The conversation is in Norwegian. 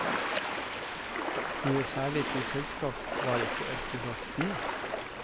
Noe særlig til selskap var ikke ørkenrottene.